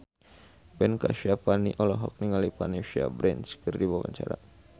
Ben Kasyafani olohok ningali Vanessa Branch keur diwawancara